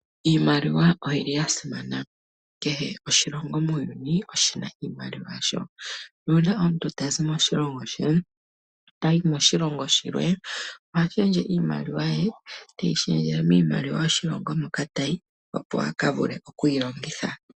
Iimaliwa oyili yasimana, kehe oshilongo muuyuni oshina iimaliwa yasho nuuna omuntu tazi moshilongo she tayi moshilongo shilwe ohashendje iimaliwa ye teyishendjele miimaliwa yoshilongo moka tayi opo akavule okuyilongitha.